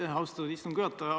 Aitäh, austatud istungi juhataja!